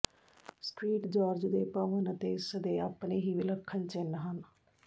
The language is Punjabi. ਸ੍ਟ੍ਰੀਟ ਜਾਰ੍ਜ ਦੇ ਭਵਨ ਅਤੇ ਇਸ ਦੇ ਆਪਣੇ ਹੀ ਵਿਲੱਖਣ ਚਿੰਨ੍ਹ ਹਨ